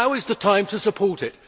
Now is the time to support it.